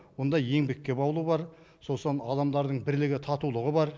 мұнда еңбекке баулу бар сосын адамдардың бірлігі татулығы бар